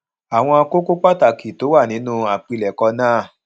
àwọn kókó pàtàkì tó wà nínú àpilèkọ náà